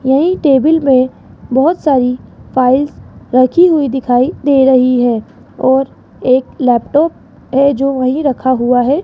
यही टेबिल में बहोत सारी फाइल्स रखी हुई दिखाई दे रही है और एक लैपटॉप है जो वही रखा हुआ है।